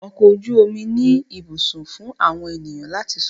Ọkọ̀ ojú omi ní ibùsùn fún àwọn ènìyàn láti sùn.